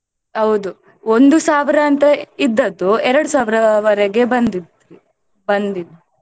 ಹೌದು ಒಂದು ಸಾವಿರ ಅಂತ ಇದ್ದದ್ದು ಎರಡು ಸಾವಿರವರೆಗೆ .